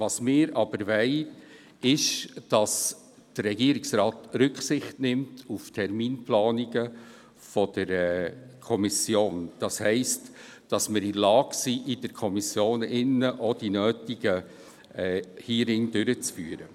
Wir aber wollen, dass der Regierungsrat Rücksicht auf die Terminplanungen der Kommission nimmt, das heisst, dass wir in der Lage sind, seitens der Kommission die nötigen Hearings durchzuführen.